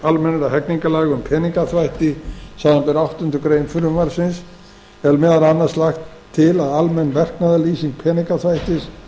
almennra hegningarlaga um peningaþvætti samanber áttundu greinar frumvarpsins er meðal annars lagt til að almenn verknaðarlýsing peningaþvættis